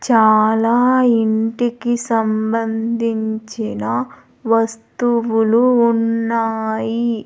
చాలా ఇంటికి సంబంధించిన వస్తువులు ఉన్నాయి.